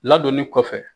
Ladonni kɔfɛ